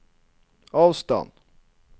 avstand